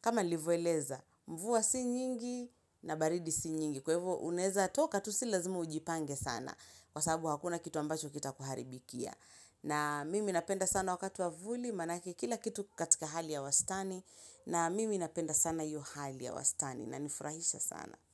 kama nilivyo eleza mvua si nyingi na baridi si nyingi kwa hivo unaeza toka tu si lazimu ujipange sana kwa sababu hakuna kitu ambacho kitakuharibikia na mimi napenda sana wakati wa vuli maanake kila kitu ki katika hali ya wastani na mimi napenda sana hiyo hali ya wastani inifurahisha sana.